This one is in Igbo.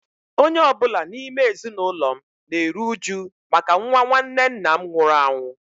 Onye ọ bụla n’ime ezinụlọ m na-eru uju maka nwa nwanne nna m nwụrụ anwụ.